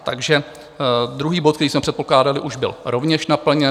Takže druhý bod, který jsme předpokládali, už byl rovněž naplněn.